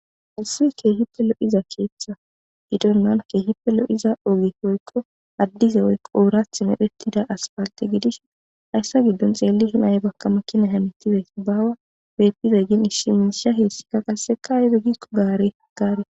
hesiwi keehippe lo7iza keeththa idonnan keehipe lo7iza oge poykko addize yko oorath mephettida aspaalte gidish hayssa giddon xeelli shenaye bakka makkina hamitidey baawa pettizay gin ishiminsha heessikka qasseka yode gikko gaare gaare